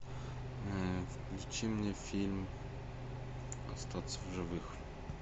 включи мне фильм остаться в живых